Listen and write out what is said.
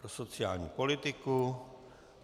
Pro sociální politiku.